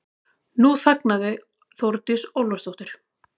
Nú þagnaði Þórdís Ólafsdóttir.